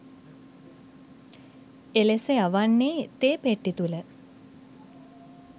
එලෙස යවන්නේ තේ පෙට්ටි තුළ